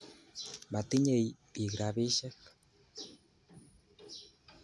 Matinye piik rapisyek.